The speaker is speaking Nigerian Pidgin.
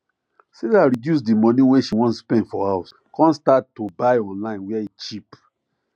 sarah reduce the money wey she wan spend for house come start to buy online where e cheap